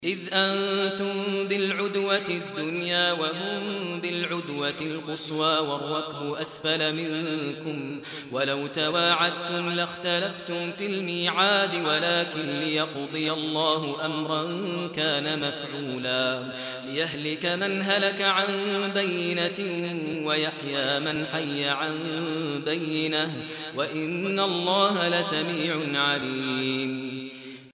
إِذْ أَنتُم بِالْعُدْوَةِ الدُّنْيَا وَهُم بِالْعُدْوَةِ الْقُصْوَىٰ وَالرَّكْبُ أَسْفَلَ مِنكُمْ ۚ وَلَوْ تَوَاعَدتُّمْ لَاخْتَلَفْتُمْ فِي الْمِيعَادِ ۙ وَلَٰكِن لِّيَقْضِيَ اللَّهُ أَمْرًا كَانَ مَفْعُولًا لِّيَهْلِكَ مَنْ هَلَكَ عَن بَيِّنَةٍ وَيَحْيَىٰ مَنْ حَيَّ عَن بَيِّنَةٍ ۗ وَإِنَّ اللَّهَ لَسَمِيعٌ عَلِيمٌ